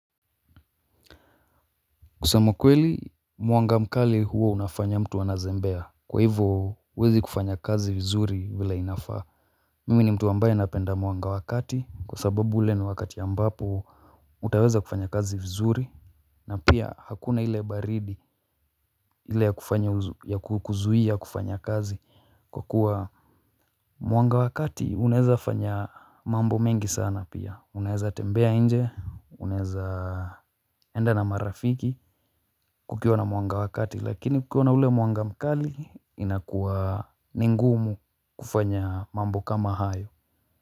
Kusema ukweli mwanga mkali huo unafanya mtu anazembea. Kwa hivo huwezi kufanya kazi vizuri vile inafaa. Mimi ni mtu ambaye napenda mwanga wakati kwa sababu ule ni wakati ambapo utaweza kufanya kazi vizuri. Na pia hakuna ile baridi ile ya kufanya ya kukuzuia kufanya kazi kwa kuwa mwanga wa kati unaeza fanya mambo mengi sana pia unaeza tembea nje unaeza enda na marafiki kukiwa na mwanga wa kati lakini kukiwa na ule mwanga mkali inakuwa ni ngumu kufanya mambo kama hayo.